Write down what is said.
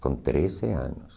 Com treze anos.